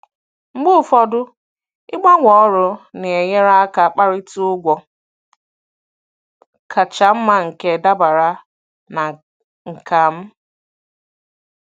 Mgbe ụfọdụ, ịgbanwee ọrụ na-enyere aka kparịta ụgwọ kacha mma nke dabara na nkà m.